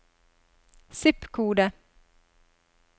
zip-kode